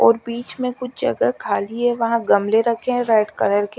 और बिच्च में कुछ जगह खाली है वहां गमले रखे है रेड कलर के--